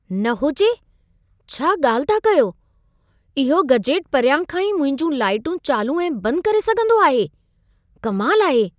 न हुजे! छा ॻाल्हि था कयो! इहो गजेट परियां खां ई मुंहिंजूं लाइटूं चालू ऐं बंद करे सघंदो आहे? कमाल आहे।